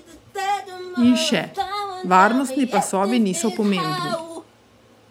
In še: 'Varnostni pasovi niso pomembni.